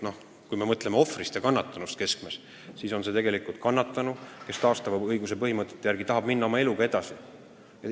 Kui me mõtleme ohvrist või kannatanust, siis kannatanu tahab ju, kui me lähtume taastava õiguse põhimõtetest, oma eluga edasi minna.